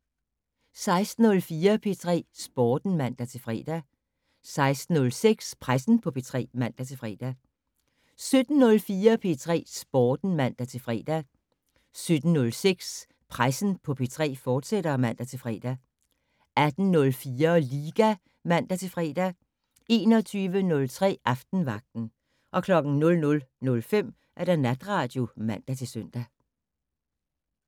16:04: P3 Sporten (man-fre) 16:06: Pressen på P3 (man-fre) 17:04: P3 Sporten (man-fre) 17:06: Pressen på P3, fortsat (man-fre) 18:04: Liga (man-fre) 21:03: Aftenvagten 00:05: Natradio (man-søn)